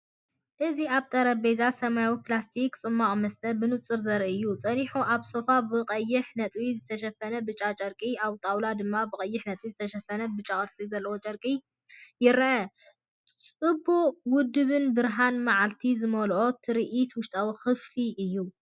እዚ ኣብ ሓደ ጠረጴዛ ሰማያዊ ፕላስቲክ ጽማቝመስተ ብንጹር ዘርኢ እዩ። ጸኒሑ ኣብ ሶፋ ብቐይሕ ነጥቢ ዝተሸፈነ ብጫ ጨርቂ ኣብ ጣውላ ድማ ብቐይሕ ነጥቢ ዝተሸፈነ ብጫ ቅርጺ ዘለዎ ጨርቂ ይርአ። ጽቡቕ ውዱብን ብርሃን መዓልቲ ዝመልአን ትርኢትውሽጣዊ ክፍሊ እየ።